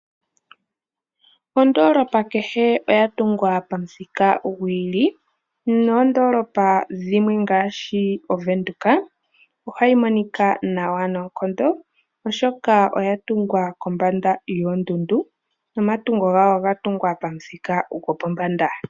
Ondoolopa kehe oya tungwa pamuthika gwi ili noondoolopa dhimwe ngaashi oVenduka ohayi monika nawa noonkondo oshoka oya tungwa kombanda yoondundu nomatungo gayo oga tungwa pamuthika gwopombada.